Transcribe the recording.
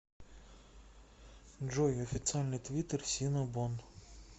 джой официальный твиттер синнабон